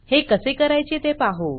हे कसे करायचे ते पाहू